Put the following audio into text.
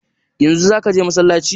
Yanzu zaka je masallaci?